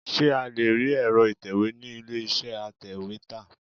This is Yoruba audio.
Ṣé a lé rí èro ìtẹ̀wẹ́ ni ilé iṣẹ́ atèwétà?